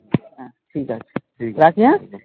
ঠিকাছে, রাখি হ্যাঁ,